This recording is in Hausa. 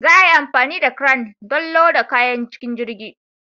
Za a yi amfani da cran don loda kayan cikin jirgin.